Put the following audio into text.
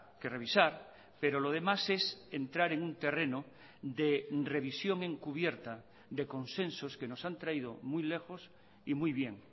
que revisar pero lo demás es entrar en un terreno de revisión encubierta de consensos que nos han traído muy lejos y muy bien